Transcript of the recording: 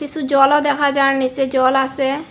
কিসু জলও দেখা যার নীচে জল আসে।